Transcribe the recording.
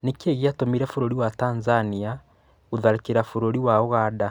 Nĩkĩĩ gĩatũmire bũrũri wa Tanzania gũtharĩkĩra bũrũri wa ũganda?